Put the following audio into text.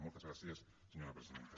moltes gràcies senyora presidenta